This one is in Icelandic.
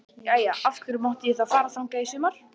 Jæja, af hverju mátti ég þá fara þangað í sumar?